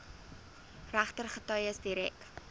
regter getuies direk